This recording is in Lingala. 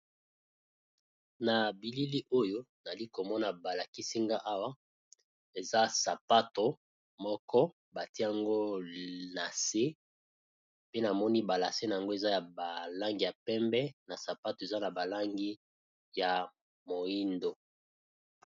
Na bilili nazomona balakisi nga awa, eza sapato moko, batie yango nase